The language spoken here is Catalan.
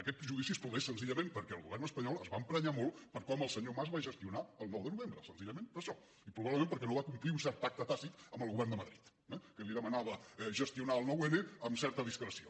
aquest judici es produeix senzillament perquè el govern espanyol es va emprenyar molt per com el senyor mas va gestionar el nou de novembre senzillament per això i probablement perquè no va complir un cert pacte tàcit amb el govern de madrid eh que li demanava gestionar el nou n amb certa discreció